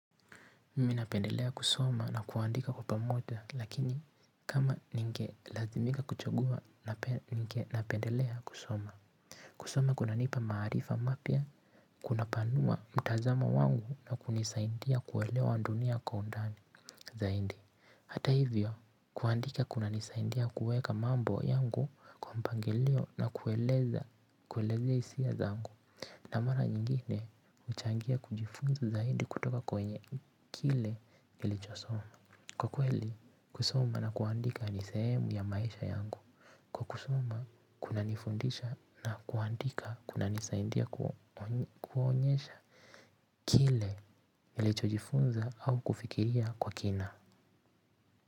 Mimi napendelea kusoma na kuandika kwa pamoja lakini kama ningelazimika kuchagua napendelea kusoma. Kusoma kunanipa maarifa mapya kunapanua mtazamo wangu na kunisaidia kuelewa dunia kwa undani zaidi. Hata hivyo kuandika kunanisaindia kuweka mambo yangu kwa mpangilio na kueleza kuelezea hisia zangu na mara nyingine huchangia kujifunza zaidi kutoka kwa wenye kile nilichosoma kwa kweli kusoma na kuandika ni sehemu ya maisha yangu. Kwa kusoma kunanifundisha na kuandika kunanisaindia kuonyesha kile nilichokifunza au kufikiria kwa kina.